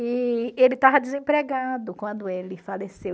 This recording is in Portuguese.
E ele estava desempregado quando ele faleceu.